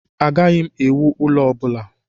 Agaghị m ewu ụlo ọ bula